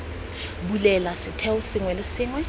bulela setheo sengwe le sengwe